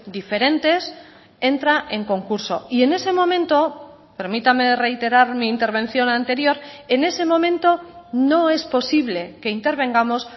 diferentes entra en concurso y en ese momento permítame reiterar mi intervención anterior en ese momento no es posible que intervengamos